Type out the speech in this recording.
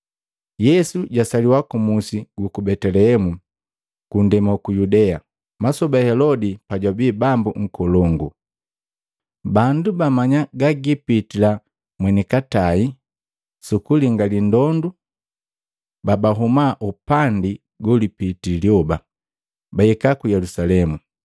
Yesu jasaliwa ku musi guku Betelehemu, ku nndema uku Yudea, masoba Helodi pajwabii bambu nkolongu. Bandu baamanya gagiipitila mweni katai sukulingali ndondu babahuma upandi golipitii lyoba bahika ku Yelusalemu,